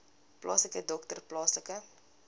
plaaslike dokter plaaslike